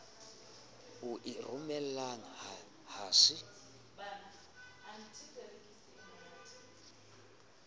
o e romelang ha se